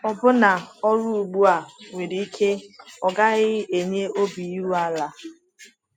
Ọbụna ọrụ ugbu a nwere ike ọ gaghị enye obi iru ala.